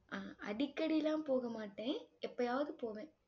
அஹ் அடிக்கடி எல்லாம் போக மாட்டேன். எப்பயாவது போவேன்.